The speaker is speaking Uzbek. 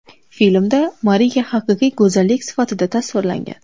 Filmda Mariya haqiqiy go‘zallik sifatida tasvirlangan.